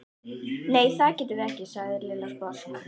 Nei, það getum við ekki sagði Lilla sposk.